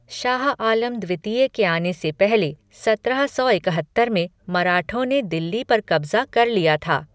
शाह आलम द्वितीय के आने से पहले सत्रह सौ इकहत्तर में मराठों ने दिल्ली पर कब्जा कर लिया था।